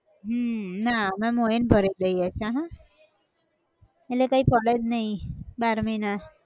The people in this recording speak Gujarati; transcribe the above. હમ ના અમે મોઇન ભરાય દઈએ છે હાઁ. એટલે કઈ પડે જ નઈ બાર મહિના